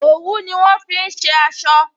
Òwú ni wọn fi ṣe aṣọ